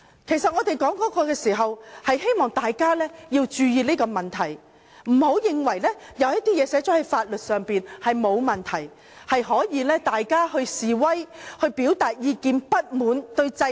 其實我當時這樣說是希望大家注意這個問題，不要認為一些列明在法律上的東西是沒有問題，大家可以示威，可以表達對制度不滿的意見。